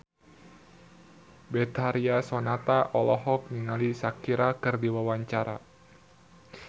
Betharia Sonata olohok ningali Shakira keur diwawancara